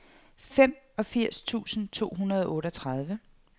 femogfirs tusind to hundrede og otteogtredive